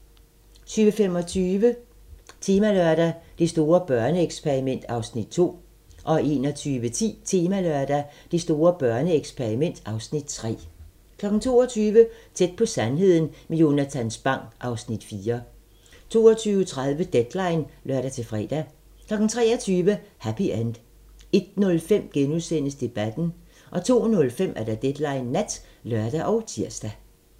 20:25: Temalørdag: Det store børneeksperiment (Afs. 2) 21:10: Temalørdag: Det store børneeksperiment (Afs. 3) 22:00: Tæt på sandheden med Jonatan Spang (Afs. 4) 22:30: Deadline (lør-fre) 23:00: Happy End 01:05: Debatten * 02:05: Deadline Nat (lør og tir)